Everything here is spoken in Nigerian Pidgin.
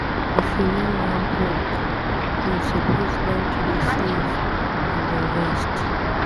If you no wan broke, you suppose learn to dey save and invest.